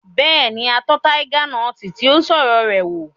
Bẹ́ẹ̀ni, a tọ́ taiga nọti tí ó ń sọ̀rọ̀ rẹ̀ wò